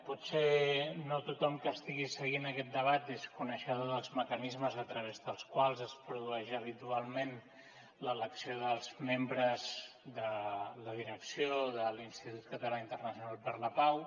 potser no tothom que estigui aquest debat és coneixedor dels mecanismes a través dels quals es produeix habitualment l’elecció dels membres de la direcció de l’institut català internacional per la pau